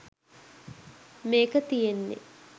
මේක තියන්නෙ.